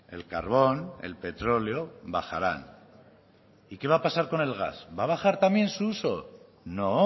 el carbón el petróleo bajarán y qué va a pasar con el gas va a bajar también su uso no